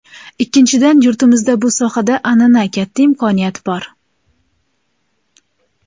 Ikkinchidan, yurtimizda bu sohada an’ana, katta imkoniyat bor.